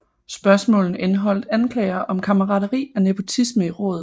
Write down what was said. Spørgsmålene indeholdt anklager om kammerateri og nepotisme i rådet